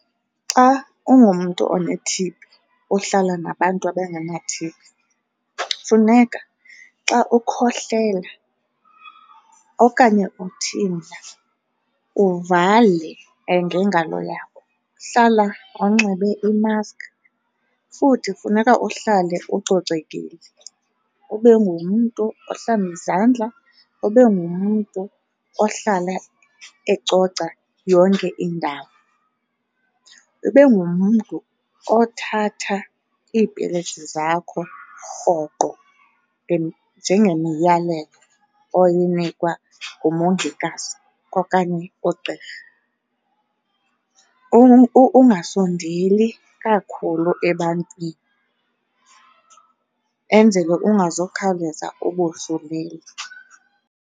Xa ungumntu one-T_B ohlala nabantu abengena-T_B, funeka xa ukhohlela okanye uthimla uvale ngengalo yakho. Hlala unxibe i-mask futhi funeka uhlale ucocekile ube ngumntu ohlamba izandla, ube ngumntu ohlala ecoca yonke indawo. Ube ngumntu othatha iipilisi zakho rhoqo njengemiyalelo oyinikwa ngumongikazi okanye ugqirha. Ungasondeli kakhulu ebantwini enzele ungazukhawuleza ubosulele.